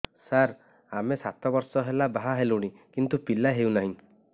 ସାର ଆମେ ସାତ ବର୍ଷ ହେଲା ବାହା ହେଲୁଣି କିନ୍ତୁ ପିଲା ହେଉନାହିଁ